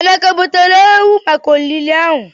Emeka butere ewu maka olili ahụ?